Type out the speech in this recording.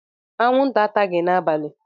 Anwụnta ataghị m n'abalị.